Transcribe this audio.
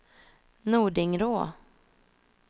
Nordingrå